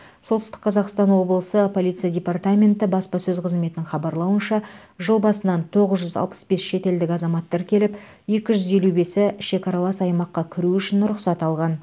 солтүстік қазақстан облысы полиция департаменті баспасөз қызметінің хабарлауынша жыл басынан тоғыз жүз алпыс бес шетелдік азамат тіркеліп екі жүз елу бесі шекаралас аймаққа кіру үшін рұқсат алған